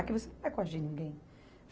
Aqui você não vai coagir ninguém.